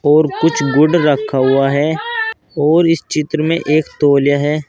और कुछ गुड़ रखा हुआ है और इस चित्र में एक तौलिया है।